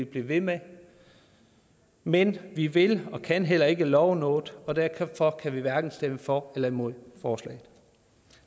blive ved med men vi vil og kan heller ikke love noget og derfor kan vi hverken stemme for eller imod forslaget